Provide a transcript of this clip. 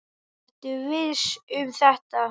Ertu viss um þetta?